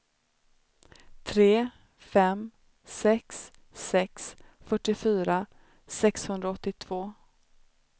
tre fem sex sex fyrtiofyra sexhundraåttiotvå